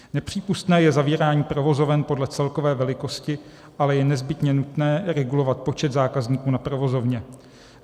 Nepřípustné je zavírání provozoven podle celkové velikosti, ale je nezbytně nutné regulovat počet zákazníků na provozovně.